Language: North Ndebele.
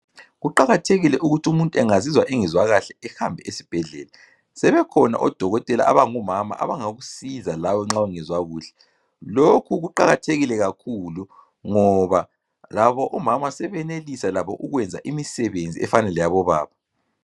Kuqakathekile ukuthi umuntu engazizwa kahle ehambe esibhedlela. Sebekhona odokotela abangomama abangakusiza lawe nxa ungezwa kuhle. Lokhu kuqakathekile kakhulu ngoba labo omama sebenelisa labo ukwenza imisebenzi efana leyabo baba.